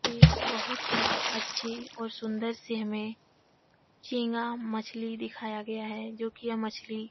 एक बहुत ही अच्छे और सुन्दर से हमें झींगा मछली दिखाया गया है जो कि यह मछली --